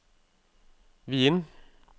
Wien